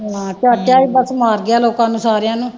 ਹਾਂ ਚਾਚਾ ਹੀ ਬਸ ਮਾਰ ਗਿਆ ਲੋਕਾਂ ਨੂੰ ਸਾਰਿਆਂ ਨੂੰ